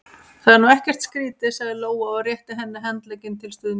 Það er nú ekkert skrítið, sagði Lóa og rétti henni handlegginn til stuðnings.